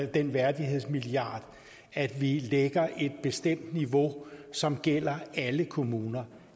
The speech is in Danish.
den værdighedsmilliard at vi lægger et bestemt niveau som gælder alle kommuner